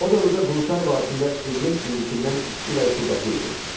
O dövrdə Quruçay vadisində iqlim indikinədən isti və rütubətli idi.